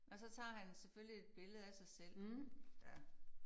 Og så tager han selvfølgelig et billede af sig selv ja